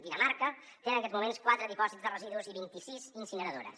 dinamarca té en aquests moments quatre dipòsits de residus i vint i sis incineradores